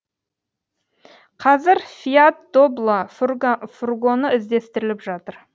қазір фиат добло фургоны іздестіріліп жатыр